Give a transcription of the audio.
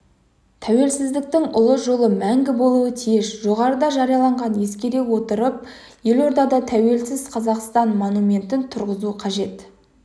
тәуелсіздіктің ұлы жолы мәңгі болуы тиіс жоғарыда жарияланғандарды ескере отырып елордада тәуелсіз қазақстан монументін тұрғызу қажет